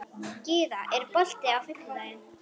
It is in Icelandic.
Gyða, er bolti á fimmtudaginn?